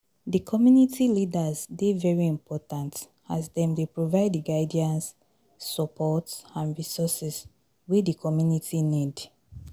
di community leaders dey very important, as dem dey provide di guidance, support and resources wey di community need.